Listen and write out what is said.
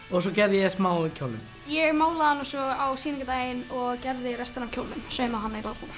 og svo gerði ég smá í kjólnum ég málaði hana svo á og gerði restina af kjólnum saumaði hann